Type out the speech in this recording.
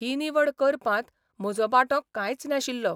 ही निवड करपांत म्हजो वांटो कांयच नाशिल्लो.